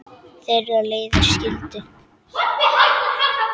Þeirra leiðir skildu.